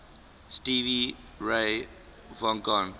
stevie ray vaughan